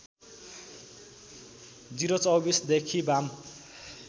०२४ देखि वाम